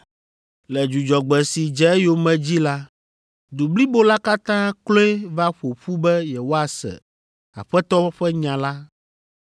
Le Dzudzɔgbe si dze eyome dzi la, du blibo la katã kloe va ƒo ƒu be yewoase Aƒetɔ ƒe nya la.